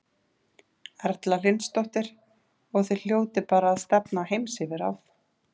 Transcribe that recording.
Erla Hlynsdóttir: Og þið hljótið bara að stefna á heimsyfirráð?